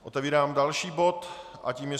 Otevírám další bod a tím je